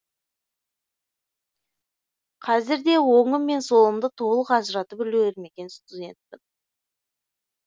қазір де оңым мен солымды толық ажыратып үлгермеген студентпін